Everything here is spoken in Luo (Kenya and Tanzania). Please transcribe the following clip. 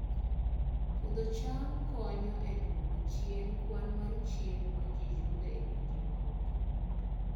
Puodho cham konyo e duoko chien kwan mar chiemo ma ji yudo e pinje mamoko